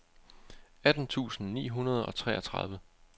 atten tusind ni hundrede og treogtredive